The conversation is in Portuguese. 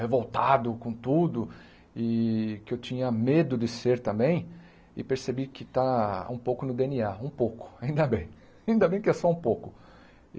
revoltado com tudo e que eu tinha medo de ser também, e percebi que está um pouco no Dê êNe á, um pouco, ainda bem, ainda bem que é só um pouco.